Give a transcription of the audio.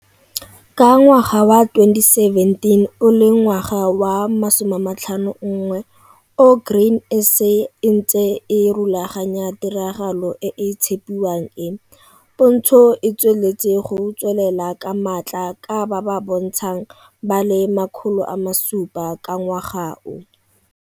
Ka ngwaga wa 2017 o le ngwaga wa 51 o Grain SA e ntse e rulaganya tiragalo e e tshepiwang e, pontsho e tsweleletse go tswelelela ka maatla ka ba ba bontshang ba le 700 ka ngwaga o.